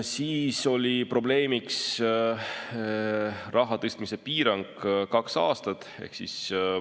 Siis oli probleemiks raha tõstmise piirang kaks aastat.